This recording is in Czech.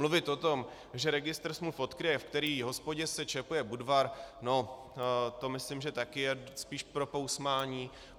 Mluvit o tom, že registr smluv odkryje, v které hospodě se čepuje Budvar, no to myslím, že také je spíš pro pousmání.